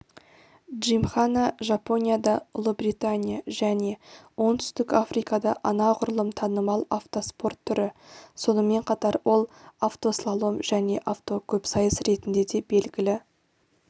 джимхана жапонияда ұлыбритания және оңтүстік африкада анағұрлым танымал автоспорт түрі сонымен қатар ол автослалом және авто көпсайыс ретінде де белгілі